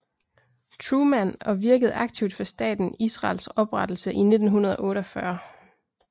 Truman og virkede aktivt for staten Israels oprettelse i 1948